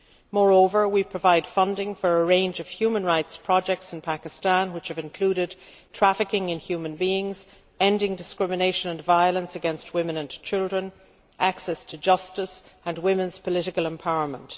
Moreover, we provide funding for a range of human rights projects in Pakistan, which have included trafficking in human beings, ending discrimination and violence against women and children, access to justice and women's political empowerment.